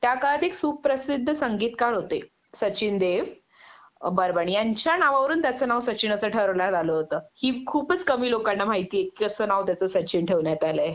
त्या काळात एक सुप प्रसिद्ध संगीतकार होते सचिन देव अ बर्मण यांच्या नावावरून त्याच नाव सचिन असं ठरवण्यात आलं होत हि खूपच कमी लोकांना माहितीये की कस त्याच नाव सचिन ठेवण्यात आलंय